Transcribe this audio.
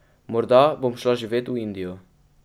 Morda bom šla živet v Indijo.